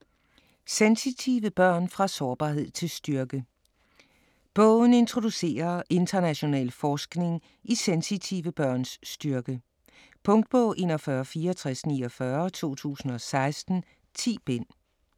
Sensitive børn - fra sårbarhed til styrke Bogen introducerer international forskning i sensitive børns styrke. Punktbog 416449 2016. 10 bind.